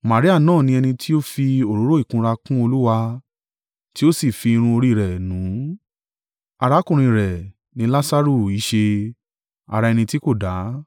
Maria náà ni ẹni tí ó fi òróró ìkunra kun Olúwa, tí ó sì fi irun orí rẹ̀ nù ún, arákùnrin rẹ̀ ni Lasaru í ṣe, ara ẹni tí kò dá.